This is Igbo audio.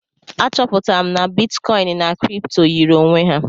A chọpụtara m na bitkọin na kripto yiri onwe ha.